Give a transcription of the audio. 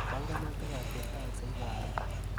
Panganutikap chetakse karon.